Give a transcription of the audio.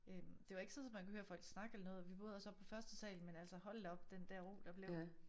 Øh det var ikke sådan så man kunne hære folk snakke eller noget vi boede også oppe på første sal men altså hold da op den der ro der blev